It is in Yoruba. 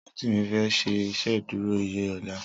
Rotimi fè ṣé Ìṣédùró iyé lòlá